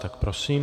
Tak prosím.